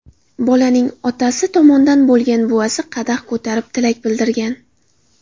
Bolaning otasi tomondan bo‘lgan buvasi qadah ko‘tarib tilak bildirgan.